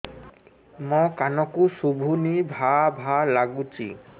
ମୋ କାନକୁ ଶୁଭୁନି ଭା ଭା ଲାଗୁଚି